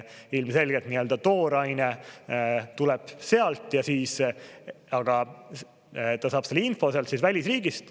Ilmselgelt tooraine tuleb sealt ja siis ta saab selle info sealt välisriigist.